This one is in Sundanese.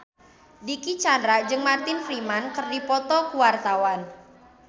Dicky Chandra jeung Martin Freeman keur dipoto ku wartawan